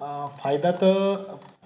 अह फायदा तर,